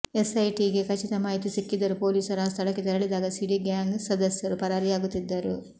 ಎಸ್ಐಟಿಗೆ ಖಚಿತ ಮಾಹಿತಿ ಸಿಕ್ಕಿದ್ದರೂ ಪೊಲೀಸರು ಆ ಸ್ಥಳಕ್ಕೆ ತೆರಳಿದಾಗ ಸಿಡಿ ಗ್ಯಾಂಗ್ ಸದಸ್ಯರು ಪರಾರಿಯಾಗುತ್ತಿದ್ದರು